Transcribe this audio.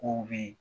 Kow be yen